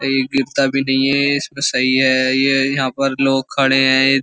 ये गिरता भी नहीं है इसमें सही है ये यहां पर लोग खड़े हैं।